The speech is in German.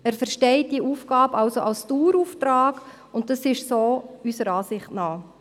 » Er versteht diese Aufgabe also als Dauerauftrag, und so ist es auch unserer Ansicht nach.